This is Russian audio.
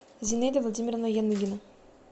зинаида владимировна яныгина